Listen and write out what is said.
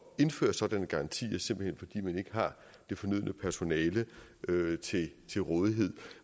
at indføre sådanne garantier simpelt hen fordi man ikke har det fornødne personale til rådighed